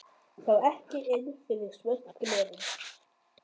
Sá ekki inn fyrir svört glerin.